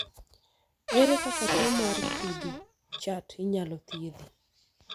ere kaka tuo mar cri du chat inyal thiedhi